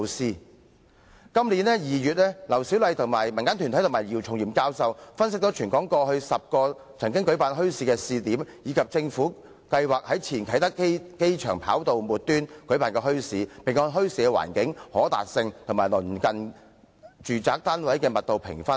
在今年2月，劉小麗、民間團體及姚松炎教授分析了全港過去10個曾舉辦墟市的試點，以及政府計劃在前啟德機場跑道末端舉辦的墟市，並按墟市的環境、可達性及鄰近住宅單位的密度評分。